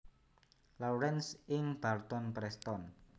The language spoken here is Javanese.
Lawrence ing Barton Preston